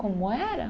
Como era?